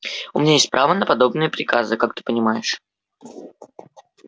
у меня есть право на подобные приказы как ты понимаешь